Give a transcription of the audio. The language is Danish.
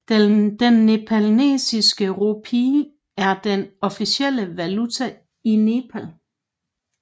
Den nepalesiske rupee er den officielle valuta i Nepal